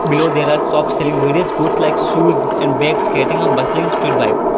below there are shop selling various goods like shoes bike skatting and busling street pipe.